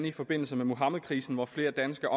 i forbindelse med muhammedkrisen hvor flere danske